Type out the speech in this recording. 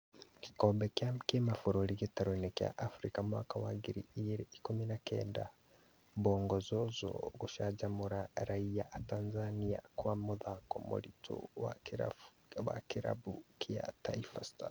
Gĩkombe gĩa kĩmabũrũri gĩtaro-inĩ kĩa Afrika mwaka wa ngiri igĩrĩ ikũmi na kenda: Bongo Zozo gũcanjamũra raiya atanzania kwa mũthako mũritũ wa kĩrabu kĩa Taifa Stars